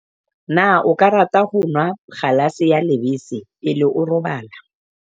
na o ka rata ho nwa kgalase ya lebese pele o robala